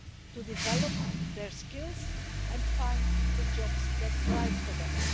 to develop their skills and find the jobs that are right for them.